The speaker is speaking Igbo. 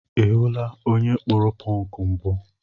Ị hụla onye kpụrụ pọnk mbụ?